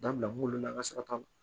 Dabila mun na an ka sarata la